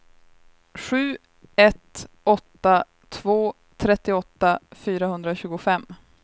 sju ett åtta två trettioåtta fyrahundratjugofem